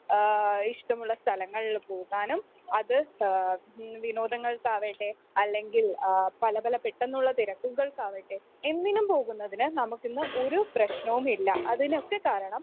ങ്ഹാ ഇഷ്ടമുള്ള സ്ഥലങ്ങളിൽ പോകാനും അത് വിനോദങ്ങൾക്കാവട്ടെ അല്ലെങ്കിൽ പല പല പെട്ടന്നുള്ള തിരക്കുകൾക്ക് ആകട്ടെ എന്തിനും പോകുന്നതിന് നമുക്കിന്ന് ഒരു പ്രശ്നവുമില്ല. അതിനൊക്കെ കാരണം